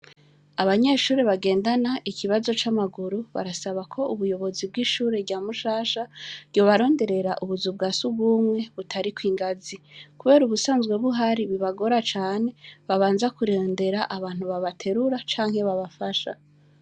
Abanyeshure bagendana ikibazo c' amaguru, basaba ko ubuyobozi bw' ishure rya Mushasha, ryobaronderera ubuzu bwa surwumwe butariko ingazi. Kubera ubusanzwe buhari bubagora cane, babanza kurondera abantu babaterura canke babafasha.